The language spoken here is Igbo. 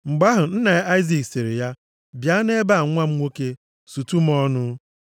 Mgbe ahụ, nna ya Aịzik sịrị ya, “Bịa nʼebe a nwa m nwoke, sutu m ọnụ.”